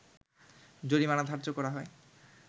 জরিমানা ধার্য করা হয়